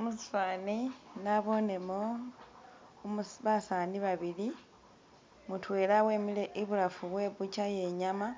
Mushifani nabonemo basani babili mudewla wemile ibulafu we bucha ye nyama